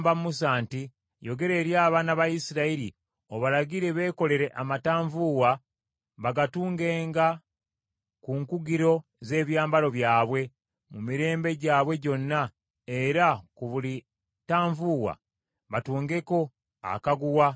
“Yogera eri abaana ba Isirayiri obalagire beekolere amatanvuuwa bagatungenga ku nkugiro z’ebyambalo byabwe mu mirembe gyabwe gyonna, era ku buli ttanvuuwa batungengako akaguwa aka bbululu.